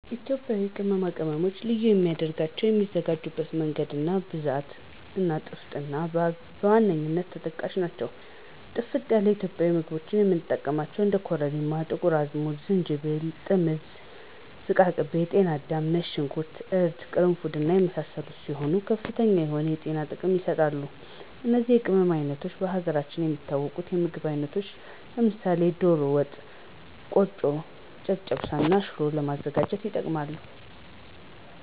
ኢትዮጵያ ቅመማ ቅመም ልዩ የሚያደረገው የሚዘጋጅበት መንገድ፣ ብዛት እና ጥፍጥና በዋነኛነት ተጠቃሽ ናቸው። ጥፍጥ ላለ ኢትዮጵያዊ ምግቦች የምንጠቀማቸው እንደ ኮረሪማ፣ ጥቁር አዝሙድ፣ ዝንጅብል፣ ጥምዝ፣ ዝቃቅቤ፣ ጤናዳም፣ ነጭ ሾንኩርት፣ እርድ፣ ቅርንፉድ እና የመሳሰሉት ሲሆኑ ከፍተኛ የሆነ የጤና ጥቅም ይሰጣሉ። እነዚህ የቅመም አይነቶች በሀገራችን የሚታወቁ የምግብ አይነቶች ለምሳሌ ደሮ ወጥ፣ ቆጮ፣ ጨጨብሳ እና ሽሮ ለማዘጋጀት ይጠቅማሉ።